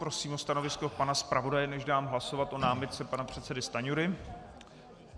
Prosím o stanovisko pana zpravodaje, než dám hlasovat o námitce pana předsedy Stanjury.